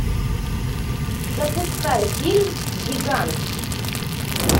запускай фильм гигант